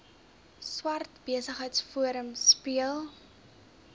swart besigheidsforum speel